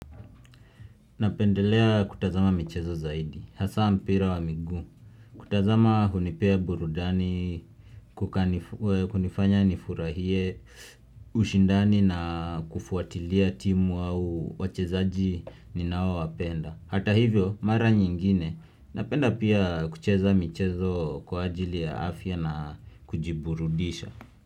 Napendelea kutazama michezo zaidi, hasa mpira wa migu. Kutazama hunipea burudani, kunifanya nifurahie, ushindani na kufuatilia timu au wachezaji ninawo wapenda. Hata hivyo, mara nyingine, napenda pia kucheza michezo kwa ajili ya afya na kujiburudisha.